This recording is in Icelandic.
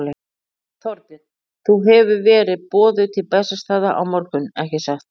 Þorbjörn: Þú hefur verið boðuð til Bessastaða á morgun, ekki satt?